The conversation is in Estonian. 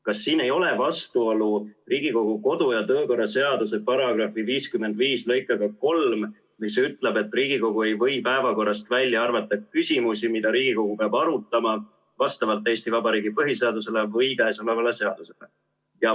Kas siin ei ole vastuolu Riigikogu kodu- ja töökorra seaduse § 55 lõikega 3, mis ütleb, et Riigikogu ei või päevakorrast välja arvata küsimusi, mida Riigikogu peab arutama vastavalt Eesti Vabariigi põhiseadusele või käesolevale seadusele?